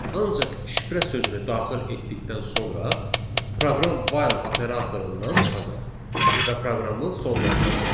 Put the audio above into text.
Ancaq şifrə sözünü daxil etdikdən sonra proqram while operatorundan çıxacaq və proqramı sonlandıracaq.